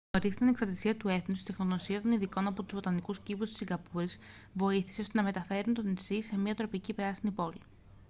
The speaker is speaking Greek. νωρίς στην ανεξαρτησία του έθνους η τεχνογνωσία των ειδικών από τους βοτανικούς κήπους της σιγκαπούρης βοήθησε ώστε να μετατρέψουν το νησί σε μια τροπική πράσινη πόλη